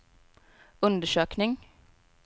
undersökning